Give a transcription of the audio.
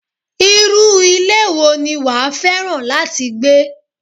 Irú ilé wo ni wàá fẹ́ràn láti gbé?